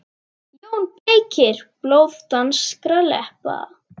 JÓN BEYKIR: Blóð danskra leppa!